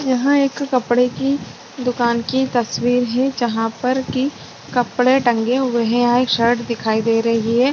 यहाँ एक कपड़े की दूकान की तस्वीर है जहाँ पर की कपड़े टंगे हुए है यहाँ एक शर्ट दिखाई दे रही है।